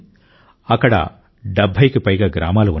అక్కడ 70కి పైగా గ్రామాలు ఉన్నాయి